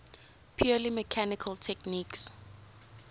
purely mechanical techniques